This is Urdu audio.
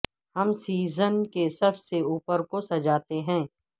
ہم سیزن کے سب سے اوپر کو سجاتے ہیں